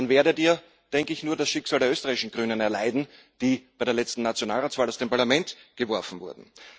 Dann werdet Ihr, denke ich, nur das Schicksal der österreichischen Grünen erleiden, die bei der letzten Nationalratswahl aus dem Parlament geworfen wurden.